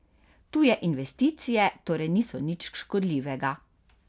Tuje investicije torej niso nič škodljivega.